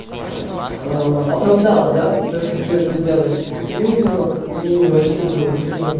аа оправдала да то что ты это делаешь а тебя видимо как-то ну не очень было видимо